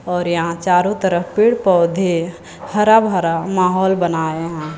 और यहां चारों तरफ पेड़ पौधे हरा भरा माहौल बनाए हैं।